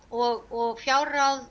og fjárráð